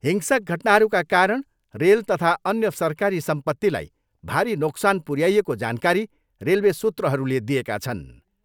हिंसक घटनाहरूका कारण रेल तथा अन्य सरकारी सम्पतिलाई भारी नोक्सान पुर्याइएको जानकारी रेलवे सूत्रहरूले दिएका छन्।